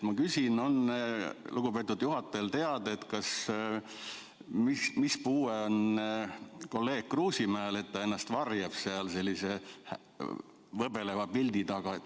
Ma küsin, kas lugupeetud juhatajale on teada, mis puue kolleeg Kruusimäel on, et ta ennast varjab seal sellise võbeleva pildi taga.